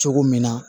Cogo min na